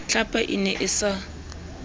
tlhapa e ne e sa